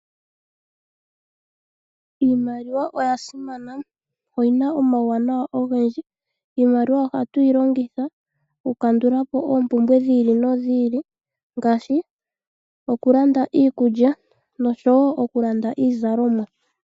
Iimaliwa oyasimana, oyina omauwanawa ogendji. Iimaliwa ohatu yi longitha okukandula po oompumbwe dhi ili nodhi ili, ngaashi okulanda iikulya nosho wo okulanda iizalomwa.